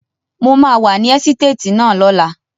Mo máa wà ní ẹ́sítéètì náà lọ́la.